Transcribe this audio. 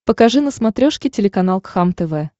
покажи на смотрешке телеканал кхлм тв